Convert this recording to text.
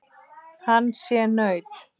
Hann sé naut.